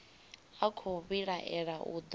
a khou vhilaela u do